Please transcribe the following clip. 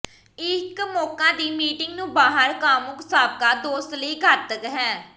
ਇੱਕ ਮੌਕਾ ਦੀ ਮੀਟਿੰਗ ਨੂੰ ਬਾਹਰ ਕਾਮੁਕ ਸਾਬਕਾ ਦੋਸਤ ਲਈ ਘਾਤਕ ਹੈ